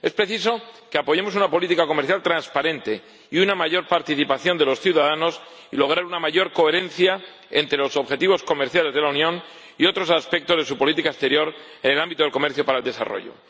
Es preciso que apoyemos una política comercial transparente y una mayor participación de los ciudadanos y que logremos una mayor coherencia entre los objetivos comerciales de la Unión y otros aspectos de su política exterior en el ámbito del comercio para el desarrollo.